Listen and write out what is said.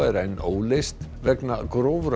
er enn óleyst vegna